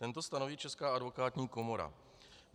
Tento stanoví Česká advokátní komora.